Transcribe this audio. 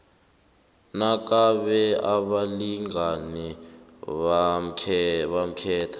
nakube abalingani bakhetha